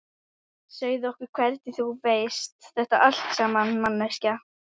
Segðu okkur hvernig þú veist þetta allt saman, manneskja.